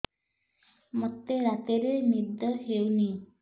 ମୋତେ ରାତିରେ ନିଦ ହେଉନି